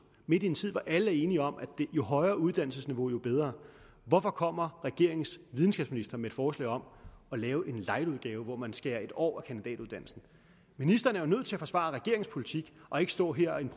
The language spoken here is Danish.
midt i en tid hvor alle er enige om at jo højere uddannelsesniveau jo bedre hvorfor kommer regeringens videnskabsminister med et forslag om at lave en lightudgave hvor man skærer en år af kandidatuddannelsen ministeren er jo nødt til at forsvare regeringens politik og ikke stå her